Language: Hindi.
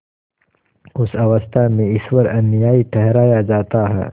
उस अवस्था में ईश्वर अन्यायी ठहराया जाता है